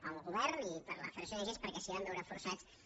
per al govern i per a la federació d’ong perquè s’hi van veure forçats